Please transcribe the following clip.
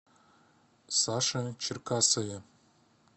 саше черкасове